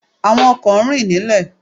Àwọn ọkò máa ń rìn nílè